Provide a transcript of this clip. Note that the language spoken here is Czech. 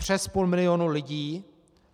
Přes půl milionu lidí!